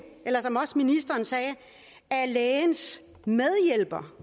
eller som også ministeren sagde af lægens medhjælper